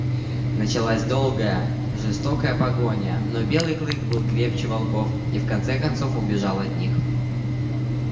началась долгая жестокая погоня но белый клык был крепче волков и в конце концов убежал от них